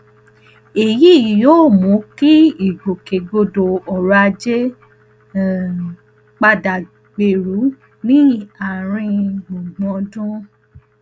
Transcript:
èyí yóò mú kí ìgbòkègbodò ọrọ ajé um padà gbèrú ní àárín gbùngbùn ọdún